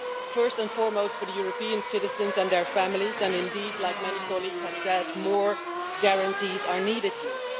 First and foremost, for European citizens and their families, and indeed, as many colleagues have said, more guarantees are needed here.